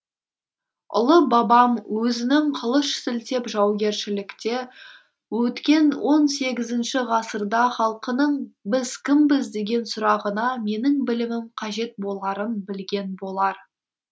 ұлы бабам өзінің қылыш сілтеп жаугершілікте өткен он сегізінші ғасырда халқының біз кімбіз деген сұрағына менің білімім қажет боларын білген болар